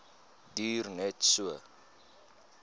duur net so